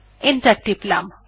enter টিপলাম